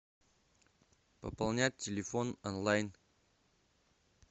пополнять телефон онлайн